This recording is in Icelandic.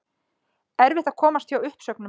Erfitt að komast hjá uppsögnum